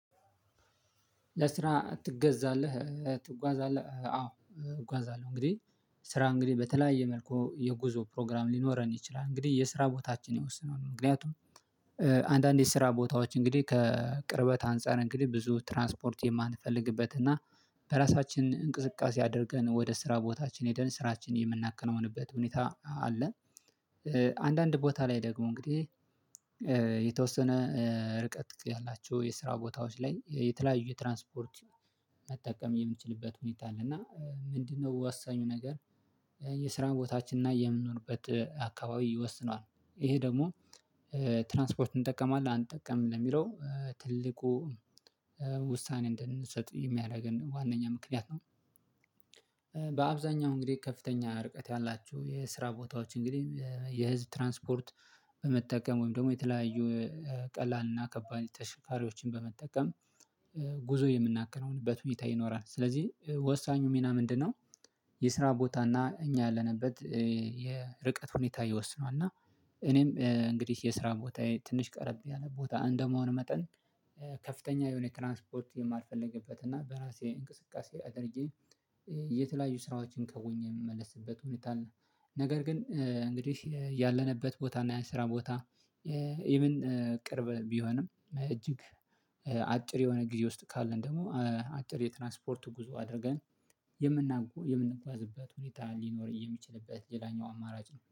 ለስራ ትጓዛለህ? አዎ እጓዛለሁ እንግዲህ ስራ እንግዲህ በተለያየ መልኩ የጉዞ ፕሮግራም ሊኖረን ይችላል። እንግዲህ የስራ ቦታችን የወሰነውን ምክንያቱም አንዳንዴ ስራ ቦታዎች እንግዲህ ከቅርበት አንፃር እንግዲህ ብዙ ትራንስፖርት የማንፈልግበት እና በራሳችን እንቅስቃሴ አድርገን ወደ ስራ ቦታችን ሄደን ስራችን የምናከናውንበት ሁኔታ አለ። አንዳንድ ቦታ ላይ ደግሞ እንግዲህ የተወሰነ ርቀት ያላቸው የስራ ቦታዎች ላይ የተለያዩ ትራንስፖርት መጠቀም የምንችልበት ሁኔታ አለ። እና ምንድነው ወሳኙ ነገር? የስራን ቦታችን እና የምንሆንበት አካባቢ ይወስነዋል ይሄ ደግሞ ትራንስፖርት እንጠቀማለን አንጠቀምም የሚለው ትልቁ ውሳኔ እንድንሰጥ የሚያደርገን ዋናኛ ምክንያት ነው። በአብዛኛው እንግዲህ ከፍተኛ ርቀት ያላችሁ የስራ ቦታዎች እንግዲህ የህዝብ ትራንስፖርት መጠቀም ወይም ደግሞ የተለያዩ ቀላልና ከባድ ተሽከርሪዮችን በመጠቀም ጉዞ የምናከናውንበት ሁኔታ ይኖራል። ስለዚህ ወሳኙ ሚና ምንድነው? የስራ ቦታ እና እኛ ያለንበት የርቀት ሁኔታ ይወስነዋል። እና እኔም እንግዲህ የስራ ቦታዬ ትንሽ ቀረብ ያለ ቦታ እንደመሆኑ መጠን ከፍተኛ የሆነ ትራንስፖርት የማልፈልግበት እና በራሴ እንቅስቃሴ አድርጌ የተለያዩ ስራዎችን ከሆኜ የምመለስበት ሁኔታ ነው። ነገር ግን እንግዲህ ያለንበት ቦታ እና ያን ስራ ቦታ ኢቭን ቅርብ ቢሆንም እጅግ አጭር የሆነ ጊዜ ውስጥ ካለን ደግሞ አጭር የትራንስፖርቱ ጉዞ አድርገን የምንጓዝበት ሁኔታ ሊኖር የሚችልበት ሌላኛው አማራጭ ነው